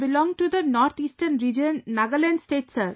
I belong to the North Eastern Region, Nagaland State sir